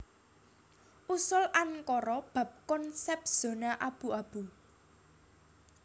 Usul Ankara bab konsèp zona abu abu